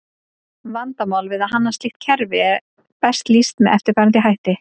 Vandamál við að hanna slíkt kerfi er best lýst með eftirfarandi hætti.